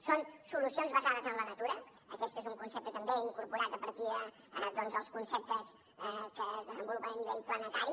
són solucions basades en la natura aquest és un concepte també incorporat a partir de doncs els conceptes que es desenvolupen a nivell planetari